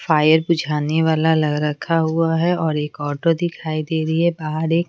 fire बुझाने वाला रखा हुआ है और एक ऑटो दिखाई दे रही है बाहर एक--